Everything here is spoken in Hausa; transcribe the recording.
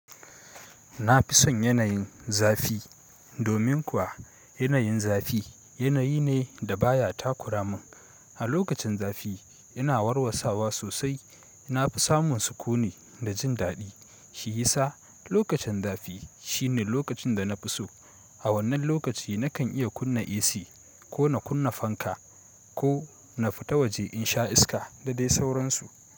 Na fi son yanayin zafi. Domin kuwa yanayin zafi yanayi ne da baya takura mun. A lokacin zafi ina warwassawa sosai, na fi samun sukuni da jin daɗi. Shi yasa lokacin zafi shine lokacin da na fi so. A wannan lokaci nakan iya kunna AC ko na kunna fanka ko na fita waje in sha iska da dai sauransu.